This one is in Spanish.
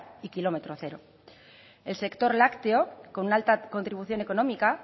y km cero el sector lácteo con una alta contribución económica